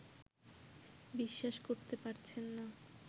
বিশ্বাস করতে পারছেন না